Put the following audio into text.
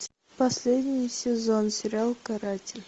последний сезон сериал каратель